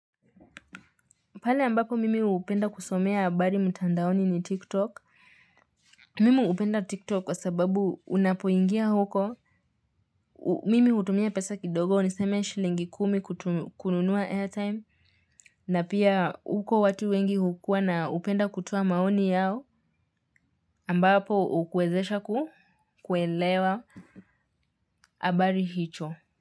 Pale ambapo mimi hupenda kusomea habari mtandaoni ni tiktok. Mimu hupenda tiktok kwa sababu unapoingia huko. Mimi hutumia pesa kidogo niseme shilingi kumi kununua airtime. Na pia huko watu wengi hukuwa na hupenda kutoa maoni yao ambapo hukuwezesha kuelewa habari hicho.